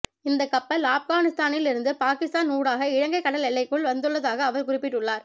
இந்த கப்பல் ஆபகானிஸ்தானில் இருந்து பாகிஸ்தான் ஊடாக இலங்கை கடல் எல்லைக்குள் வந்துள்ளதாக அவர் குறிப்பிட்டுள்ளார்